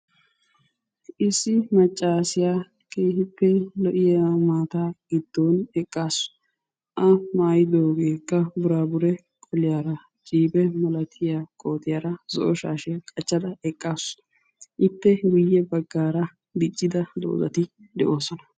Issi maccassiya keehippe lo"iya maata giddon eqqasu. A maayyidoogekka burabure qoliyaara jibe malatiyaa kootiyaara zo''o shashshiyaa qachchada eqqaasu. Ippe guyye baggaara diccida doozati de"oosona.